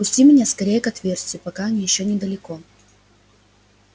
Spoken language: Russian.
пусти меня скорее к отверстию пока они ещё недалеко